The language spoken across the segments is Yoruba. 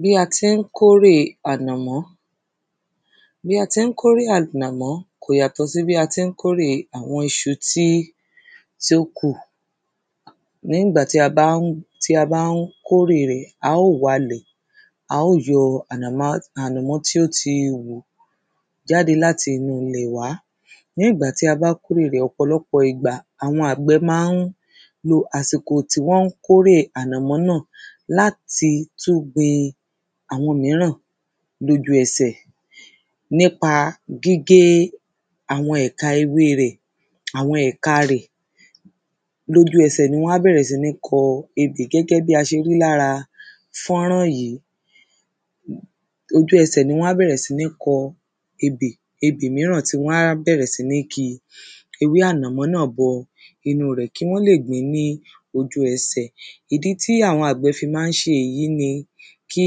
bí a tín kórèe ànàmọ́. bí a tín kórè ànàmọ́ kò yàtọ̀ sí bí a tín kórèe àwọn iṣu tí, tí ó kù. lẹ́yìn ìgbà tí a bá ń, tí a bá ń kórè rẹ̀, a ó walẹ̀, a ó yọ ànàmá ànàmọ́ tí ó ti wù jáde láti inú ilẹ̀ wá. lẹ́yìn ìgbà tí a bá kórẹ̀ rẹ̀, ọ̀pọ̀lọ́pọ̀ ìgbà àwọn àgbẹ́ ma ń lo àsìkò tí wọ́n kórè ànàmọ́ náà láti tún gbin àwọn míràn lójúẹsẹ̀, nípa gígé àwọn ẹ̀ka ewée rẹ̀, àwọn ẹ̀ka rẹ̀, lójúẹsẹ̀ ní wán bẹ̀rẹ̀ síní kọ ebè gẹ́gẹ́ bí a ṣe rí lára fọ́nrán yìí. ojúẹsẹ̀ ní wán bẹ̀rẹ̀ síní kọ ebè, ebé míràn tí wán bẹ̀rẹ̀ síní ki ewé ànàmọ́ náà bọ inúu rẹ̀ kí wọ́n lè gbín ní ojúẹsẹ̀. ìdí tí àwọn àgbẹ̀ fi mán ṣe èyí ni kí,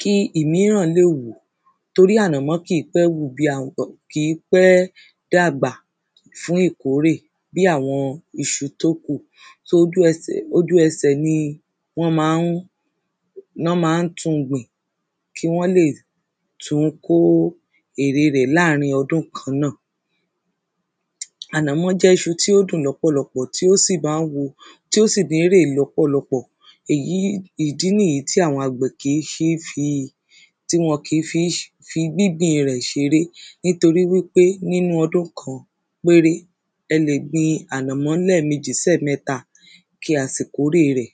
kí ìmíràn lè wù, torí ànàmọ́ kìí pé wù bí àwọn, kìí pé dàgbà fún ìkórè bí àwọn iṣu tó kù. sóò ó, ojúẹsẹ̀ ojúẹsẹ̀ ni wọ́n ma ń, ná ma ń tun gbin kí wọ́n lè tún kó ère rẹ̀ láàrin ọdún kan náà. ànàmọ́ jẹ́ iṣu tí ó dùn lọ́pọ̀lọpọ̀ tí ó sì mán wu, tí ó sì lérè lọ́pọ̀lọpọ̀. èyí, ìdí nìyí tí àwọn àgbẹ̀ kìí ṣée fi, tí wọn kìí fi ṣ fi gbingbin rẹ̀ ṣeré, nítorí wípé nínú ọdún kan péré, ẹ lè gbin ànàmọ́ lẹ́ẹ̀mejì sí ẹ̀mẹ́ta kí a sì kórè rẹ̀.